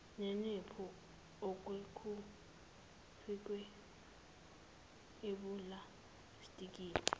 neniphu okwakufakwe epulastikini